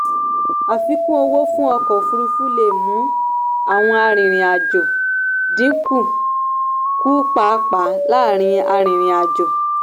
àfikún owó fún ọkọ̀ òfuurufú lè mú àwọn arìnrìn-àjò dín kù kù pàápàá láàárín arìnrìn-àjò.